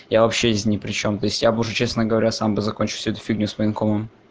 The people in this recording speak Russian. я вообще здесь не причём то есть я бы уже честно говоря сам закончить эту фигню с военкомом